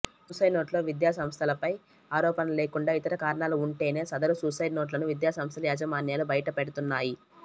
సూసైడ్నోట్లో విద్యాసంస్థపై ఆరో పణలు లేకుండా ఇతర కారణాలు ఉంటేనే సదరు సూసైడ్నోట్లను విద్యాసంస్థల యాజ మాన్యాలు బయటపెడుతున్నాయి